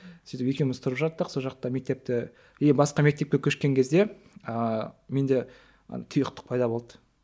сөйтіп екеуміз тұрып жаттық сол жақта мектепте е басқа мектепке көшкен кезде ыыы менде тұйықтық пайда болды